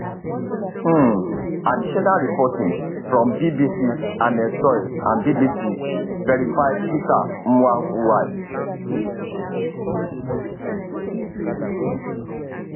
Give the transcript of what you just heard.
um additional reporting from bbcs anne soy and bbc verifys peter mwai mwai